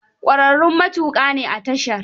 Ƙwararrun matuƙa ne a tashar.